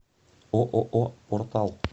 ооо портал